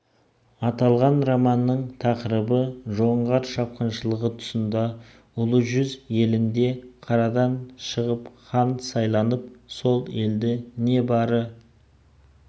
аталған романның тақырыбы жоңғар шапқыншылығы тұсында ұлы жүз елінде қарадан шығып хан сайланып сол елді небары